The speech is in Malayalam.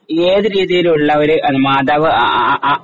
ഏത് രീതിയിലുള്ള ഒരു മാതാവ് ആ ആ ആ ആ